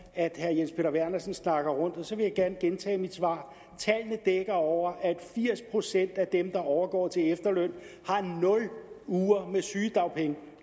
at herre jens peter vernersen snakker rundt om så vil jeg gerne gentage mit svar tallene dækker over at firs procent af dem der overgår til efterløn har nul uger med sygedagpenge